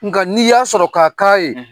Nka n'i y'a sɔrɔ k'a k'a ye